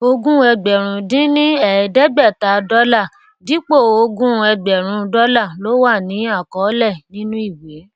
ogún ẹgbèrún dín ní èédégbèta dólà dípò ogún ẹgbèrún dólà ló wà ní àkọólè nínú ìwé